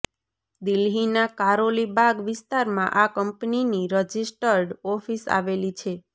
દિલ્હીના કારોલી બાગ વિસ્તારમાં આ કંપનીની રજિસ્ટર્ડ ઓફિસ આવેલી છે